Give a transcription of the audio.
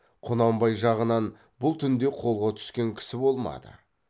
құнанбай жағынан бұл түнде қолға түскен кісі болмады